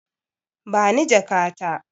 Bani jaka ta.